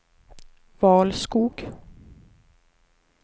Valskog